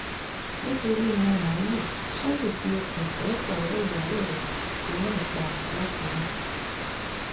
nítorí ẹran màálùú sunday fi okùn fún ọ̀rẹ́ ìyàwó rẹ̀ lọ́run pa làkúrẹ́